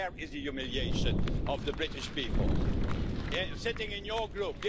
There is the humiliation of the British people, sitting in your group.